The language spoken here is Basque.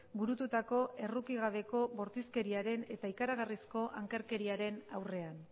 burututako errukigabeko bortizkeriaren eta ikaragarrizko ankerkeriaren aurrean